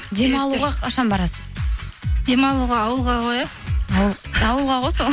демалуға қашан барасыз демалуға ауылға ғой иә ауылға ғой сол